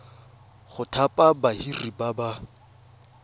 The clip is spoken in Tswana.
go thapa badiri ba ba